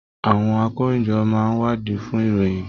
Àwọn àkòróyinjọ́ máa n wadii fún ìròyìn.